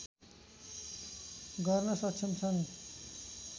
गर्न सक्षम छन्